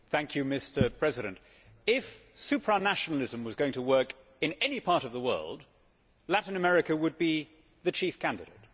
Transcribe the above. Mr President, if supranationalism was going to work in any part of the world, Latin America would be the chief candidate.